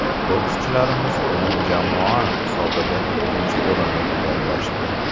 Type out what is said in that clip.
Bokschilarimiz umumjamoa hisobida ikkinchi o‘rinni egallashdi.